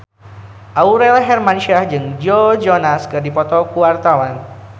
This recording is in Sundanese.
Aurel Hermansyah jeung Joe Jonas keur dipoto ku wartawan